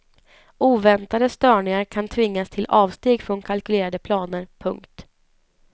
Oväntade störningar kan tvinga till avsteg från kalkylerade planer. punkt